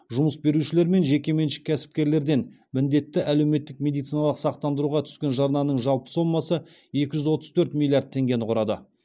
жұмыс берушілер мен жекеменшік кәсіпкерлерден міндетті әлеуметтік медициналық сақтандыруға түскен жарнаның жалпы сомасы екі жүз отыз төрт миллиард теңгені құрады